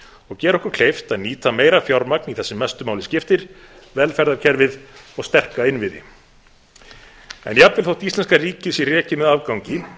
og gera okkur kleift að nýta meira fjármagn í það sem mestu máli skiptir velferðarkerfið og sterka innviði jafnvel þótt íslenska ríkið sé rekið með afgangi